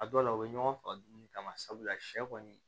A dɔw la u bɛ ɲɔgɔn faga dumuni kama sabula sɛ kɔni